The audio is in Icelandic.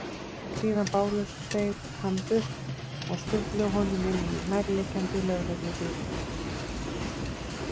Síðan báru þeir hann burt og skutluðu honum inn í nærliggjandi lögreglubíl.